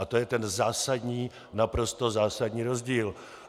A to je ten zásadní, naprosto zásadní rozdíl.